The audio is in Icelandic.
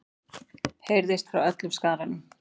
heyrðist frá öllum skaranum.